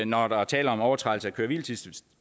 når der er tale om overtrædelse af køre hvile tids